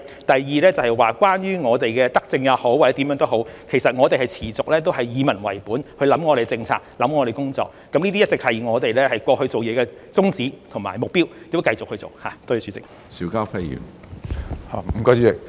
第二，關於我們的可說是德政也好或者措施也好，其實我們持續以民為本去思考我們的政策、思考我們的工作，這些一直是我們過去做事的宗旨和目標，將來亦會以此為本繼續去做。